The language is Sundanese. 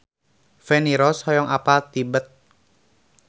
Feni Rose hoyong apal Tibet